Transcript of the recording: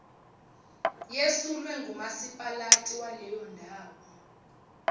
yesulwe ngumasipalati waleyondawo